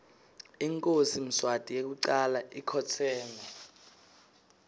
inkhosi mswati yekucala ikhotseme